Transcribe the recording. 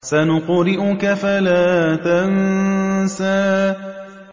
سَنُقْرِئُكَ فَلَا تَنسَىٰ